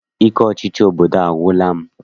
Ike ọchịchị obodo a agwụla m.